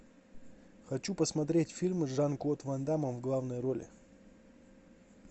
хочу посмотреть фильмы с жан клод ван даммом в главной роли